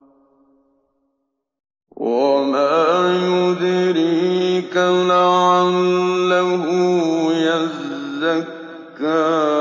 وَمَا يُدْرِيكَ لَعَلَّهُ يَزَّكَّىٰ